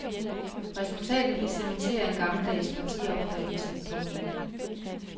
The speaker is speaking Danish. Resultatet vil cementere en gammeldags partiopfattelse. punktum